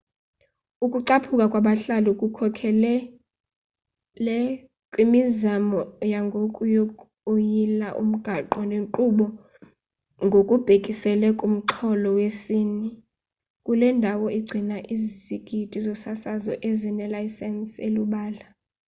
ukucaphuka kwabahlali kukhokelele kwimizamo yangoku yokuyila umgaqo-nkqubo ngokubhekisele kumxholo wesini kule ndawo igcina izigidi zosasazo ezinelayisensi elubala